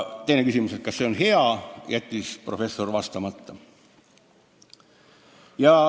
Küsimusele, kas see on hea, jättis professor vastamata.